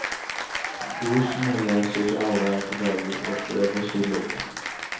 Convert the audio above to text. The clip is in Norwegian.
Dosene leses av hver dag og føres i logg.